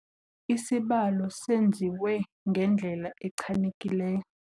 Isibalo senziwe ngendlela echanekileyo.